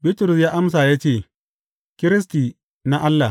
Bitrus ya amsa ya ce, Kiristi na Allah.